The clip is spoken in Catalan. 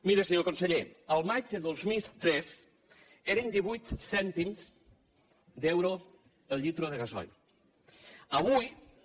miri senyor conseller al maig de dos mil tres eren divuit cèntims d’euro el litre de gasoil